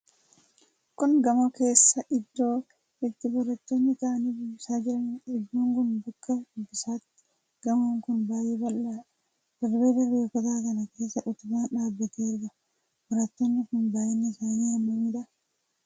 Kun gamoo keessa iddoo itti barattoonni taa'anii dubbisaa jiraniidha. Iddoon kun bakka dubbisaati. Gamoon kun baaay'ee bal'aadha. Darbee darbee kutaa kana keessa utubaan dhaabbatee argama. Barattoonni kun baay'inni isaanii hammamidha?